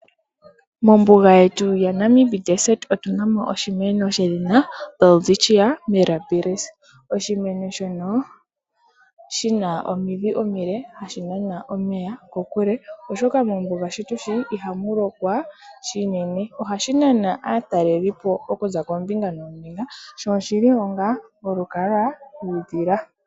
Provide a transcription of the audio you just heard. Mombuga yetu yaNamib otu na mo oshimeno shedhina Welwitschia Milabilis. Oshimeno shino oshina omidhi omile hadhi nana omeya muule oshoka mombuga shi tu shi ihamu lokwa shinene. Ohashi nana aatalelipo oku za koombinga noombinga sho oshi li onga olukalwa lwiidhila.